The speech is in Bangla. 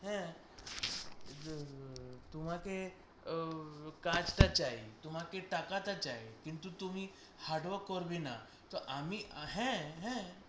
হ্যাঁ তোমাকে আহ কাজটা চাই তোমাকে টাকাটা চাই, কিন্তু তুমি hardwork করবে না, তো আমি হ্যাঁ হ্যাঁ